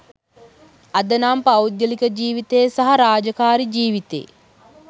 අද නම් පෞද්ගලික ජීවිතේ සහ රාජකාරී ජීවිතේ